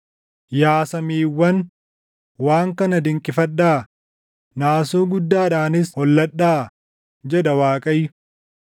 Yaa samiiwwan, waan kana dinqifadhaa; naasuu guddaadhaanis holladhaa” jedha Waaqayyo.